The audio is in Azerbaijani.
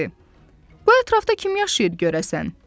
Bu ətrafda kim yaşayır görəsən?